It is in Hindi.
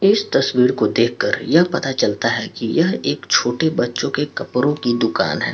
एस तस्वीर को देख कर यह पता चलता हैं की यह एक छोटे बच्चो के कपड़ो की दुकान हैं।